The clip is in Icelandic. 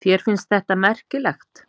Þér finnst þetta merkilegt?